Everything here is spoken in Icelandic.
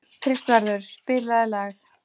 Kristvarður, spilaðu lag.